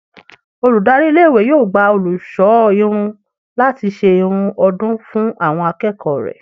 Olùdarí iléèwé yóò gba olùṣọ́ irun láti ṣe irun ọdún fún àwọn akẹ́kọ̀ọ́ rẹ̀